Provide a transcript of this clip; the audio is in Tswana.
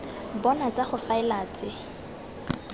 bona tsa go faela tse